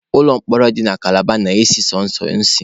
Ụlọ mkpọrọ dị na kalaba na-esi sọsọ ísì.